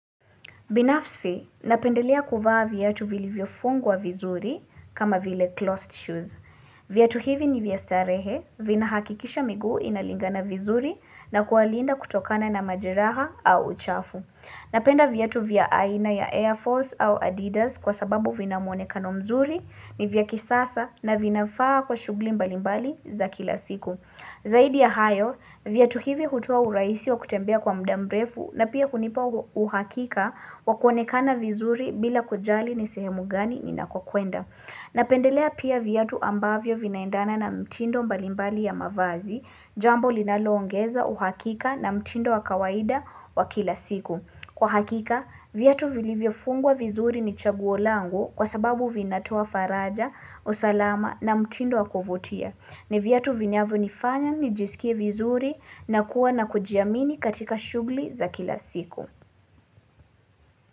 Binafsi, napendelea kuvaa vyatu vilivyo fungwa vizuri kama vile closed shoes. Vyatu hivi ni vya starehe, vinahakikisha miguu inalingana vizuri na kuwalinda kutokana na majeraha au uchafu. Napenda vyatu vya aina ya Air Force au Adidas kwa sababu vina mwonekano mzuri ni vya kisasa na vinafaa kwa shughuli mbalimbali za kila siku. Zaidi ya hayo, vyatu hivi hutoa urahisi wa kutembea kwa muda mrefu na pia kunipa uhakika wa kuonekana vizuri bila kujali ni sehemu gani ninakokwenda. Napendelea pia vyatu ambavyo vinaendana na mtindo mbalimbali ya mavazi, jambo linaloongeza uhakika na mtindo wa kawaida wa kila siku. Kwa hakika, vyatu vilivyofungwa vizuri ni chaguo langu kwa sababu vinatoa faraja, usalama na mtindo wa kuvutia. Ni vyatu vinyavyonifanya nijisikie vizuri na kuwa na kujiamini katika shughuli za kila siku.